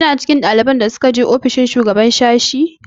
Kina cikin ɗaliban da suka je ofishin shugaban sashi?